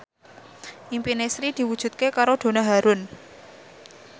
impine Sri diwujudke karo Donna Harun